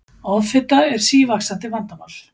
offita er sívaxandi vandamál